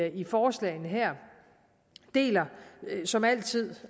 i forslagene her og deler som altid